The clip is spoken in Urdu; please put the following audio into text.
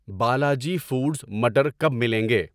بالاجی فوڈز مٹر کب ملیں گے؟